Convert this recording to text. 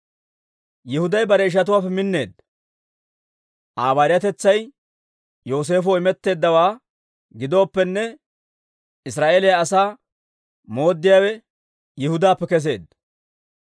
Yihuday bare ishatuwaappe minneedda; Aa bayiratetsay Yooseefoo imetteeddawaa gidooppenne, Israa'eeliyaa asaa mooddiyaawe Yihudaappe kesseedda.